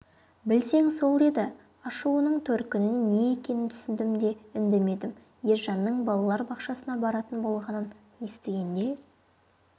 білсең сол деді ашуының төркіні не екенін түсіндім де үндемедім ержанның балалар бақшасына баратын болғанын естігенде